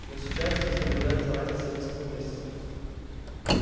но сейчас здесь наблюдается разница в несколько месяцев